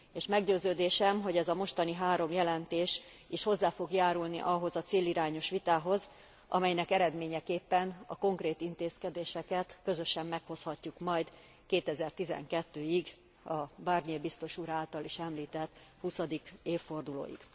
És meggyőződésem, hogy ez a mostani három jelentés is hozzá fog járulni ahhoz a célirányos vitához, amelynek eredményeképpen a konkrét intézkedéseket közösen meghozhatjuk majd 2012 ig, a Barnier biztos úr által is említett huszadik évfordulóig.